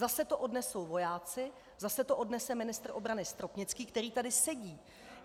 Zase to odnesou vojáci, zase to odnese ministr obrany Stropnický, který tady sedí.